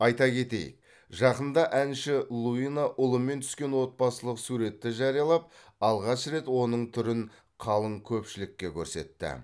айта кетейік жақында әнші луина ұлымен түскен отбасылық суретті жариялап алғаш рет оның түрін қалың көпшілікке көрсетті